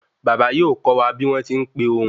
Baba yóò kó wa bi won tí n pé ohun